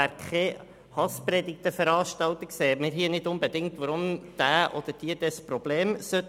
Wir sehen nicht, weshalb diejenigen, die keine Hasspredigten veranstalten, ein Problem haben sollten.